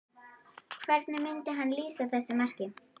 Hvernig myndi hann lýsa þessu marki?